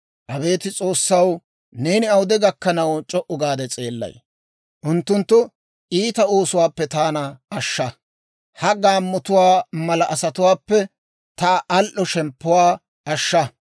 Abeet S'oossaw, neeni awude gakkanaw c'o"u gaade s'eellay? Unttunttu iita oosuwaappe taana ashsha; ha gaammotuwaa mala asatuwaappe ta al"o shemppuwaa ashshaa.